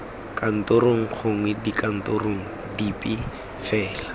kantorong gongwe dikantorong dipe fela